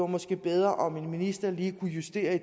måske var bedre om en minister lige kunne justere